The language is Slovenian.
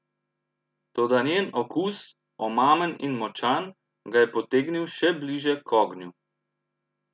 Toda njen okus, omamen in močan, ga je potegnil še bliže k ognju.